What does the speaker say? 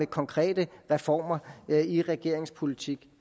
konkrete reformer i regeringens politik